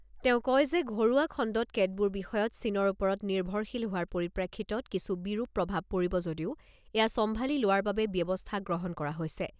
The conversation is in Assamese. তেওঁ কয় যে ঘৰুৱা খণ্ডত কেতবোৰ বিষয়ত চীনৰ ওপৰত নিৰ্ভৰশীল হোৱাৰ পৰিপ্ৰেক্ষিতত কিছু বিৰূপ প্ৰভাৱ পৰিব যদিও এয়া চম্ভালি লোৱাৰ বাবে ব্যৱস্থা গ্ৰহণ কৰা হৈছে।